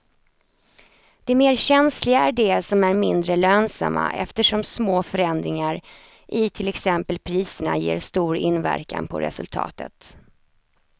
De mer känsliga är de som är mindre lönsamma eftersom små förändringar i till exempel priserna ger stor inverkan på resultatet.